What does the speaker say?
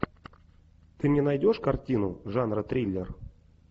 ты мне найдешь картину жанра триллер